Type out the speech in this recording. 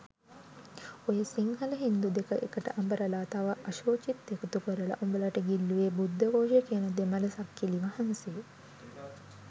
ඔය සිංහල හින්දු දෙක එකට අඹරල තව අශූචිත් එකතු කරල උඹලට ගිල්ලුවේ බුද්ධඝෝෂ කියන දෙමළ සක්කිලි වහන්සේ.